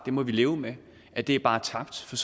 må vi leve med at det bare er tabt for